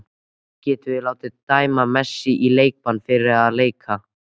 Getum við látið dæma Messi í leikbann fyrir að leika?